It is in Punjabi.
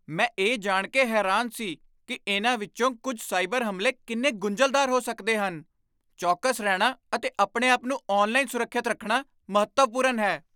ਮੈਂ ਇਹ ਜਾਣ ਕੇ ਹੈਰਾਨ ਸੀ ਕਿ ਇਨ੍ਹਾਂ ਵਿੱਚੋਂ ਕੁਝ ਸਾਈਬਰ ਹਮਲੇ ਕਿੰਨੇ ਗੁੰਝਲਦਾਰ ਹੋ ਸਕਦੇ ਹਨ। ਚੌਕਸ ਰਹਿਣਾ ਅਤੇ ਆਪਣੇ ਆਪ ਨੂੰ ਆਨਲਾਈਨ ਸੁਰੱਖਿਅਤ ਰੱਖਣਾ ਮਹੱਤਵਪੂਰਨ ਹੈ।